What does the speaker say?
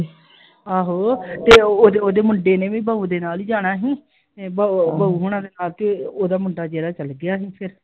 ਆਹੋ ਤੇ ਉਹ ਓਹਦੇ ਮੁੰਡੇ ਨੇ ਬਹੁ ਦੇ ਨਾਲ ਹੀ ਜਾਣਾ ਸੀ ਬ ਬਹੁ ਓਹਨਾ ਦੇ ਨਾਲ ਤੇ ਓਹਦਾ ਮੁੰਡਾ ਜਿਹੜਾ ਚਲੇ ਗਿਆ ਸੀ ਫੇਰ I